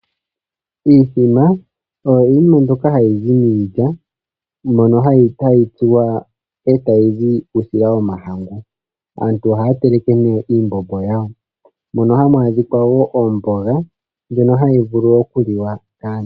Iithima oyo iikulya mbyoka hayi zi miilya mbyono hayi tsuwa e ta yi zi uusila womahangu. Aantu ohaya teleke ihe oomboga ndjono hayi vulu oku liwa kaantu.